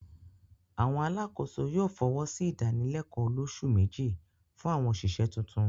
àwọn alákòóso yóò fọwọ́sí ìdálẹ̀kọ́ olósù méjì fún àwọn òṣìṣẹ́ tuntun.